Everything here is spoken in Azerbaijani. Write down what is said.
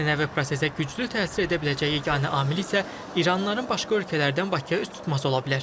Ənənəvi prosesə güclü təsir edə biləcəyi yeganə amil isə iranlıların başqa ölkələrdən Bakıya üz tutması ola bilər.